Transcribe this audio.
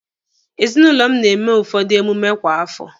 Ezinụlọ m na-eme ụfọdụ emume kwa afọ